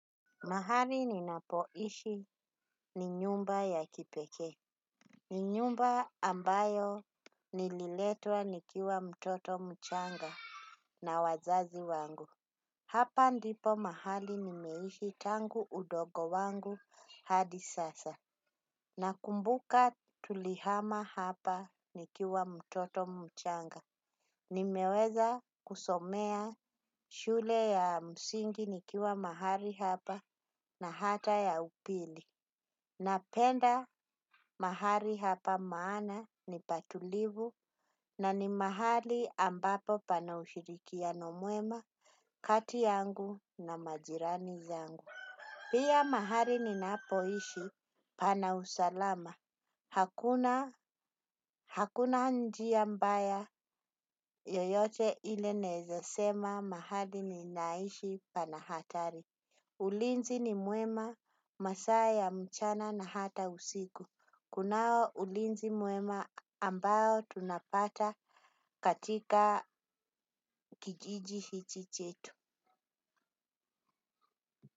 Mahali ninapoishi ni nyumba ya kipekee. Ni nyumba ambayo nililetwa nikiwa mtoto mchanga na wazazi wangu. Hapa ndipo mahali nimeishi tangu udogo wangu hadi sasa. Nakumbuka tulihama hapa nikiwa mtoto mchanga. Nimeweza kusomea shule ya msingi nikiwa mahali hapa na hata ya upili. Napenda mahali hapa maana ni pa tulivu na ni mahali ambapo pana ushirikiano mwema kati yangu na majirani zangu. Pia mahali ninapoishi pana usalama. Hakuna njia mbaya yoyote ile nawezasema mahali ninaishi pana hatari. Ulinzi ni mwema masaa ya mchana na hata usiku. Kunao ulinzi mwema ambao tunapata katika kijiji hichi chetu.